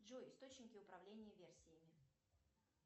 джой источники управления версиями